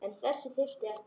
En þess þyrfti ekki.